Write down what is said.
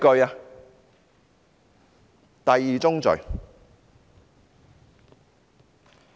這是第二宗罪。